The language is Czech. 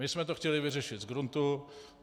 My jsme to chtěli vyřešit z gruntu.